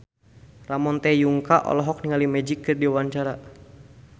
Ramon T. Yungka olohok ningali Magic keur diwawancara